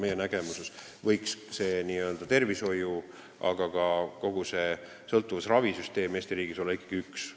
Meie nägemuses võiks tervishoiu-, aga ka sõltuvusravisüsteem Eesti riigis olla ikkagi üks.